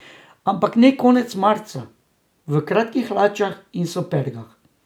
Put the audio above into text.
Ampak ne konec marca, v kratkih hlačah in supergah.